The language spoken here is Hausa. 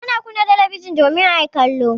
Ana kunna talabijin domin a yi kallo.